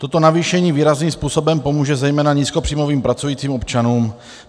Toto navýšení výrazným způsobem pomůže zejména nízkopříjmovým pracujícím občanům.